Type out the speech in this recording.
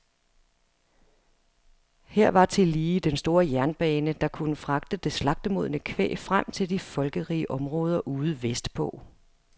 Her var tillige den store jernbane, der kunne fragte det slagtemodne kvæg frem til de folkerige områder ude vestpå.